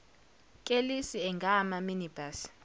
kelisi angama minibus